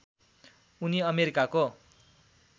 उनी अमेरिकाको